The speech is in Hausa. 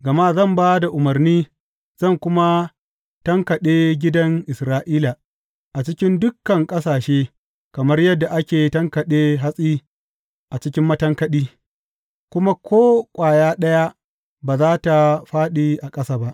Gama zan ba da umarni, zan kuma tankaɗe gidan Isra’ila a cikin dukan ƙasashe kamar yadda ake tankaɗe hatsi a cikin matankaɗi kuma ko ƙwaya ɗaya ba za tă fāɗi a ƙasa ba.